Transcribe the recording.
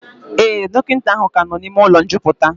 Ee, dọkịta ahụ ka nọ n'ime ụlọ njupụta